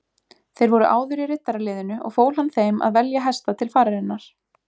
Þeir voru áður í riddaraliðinu og fól hann þeim að velja hesta til fararinnar.